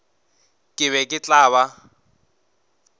ke be ke tla ba